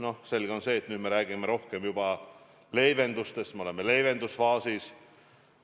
On selge, et nüüd me räägime rohkem juba leevendustest, me oleme leevendusfaasis.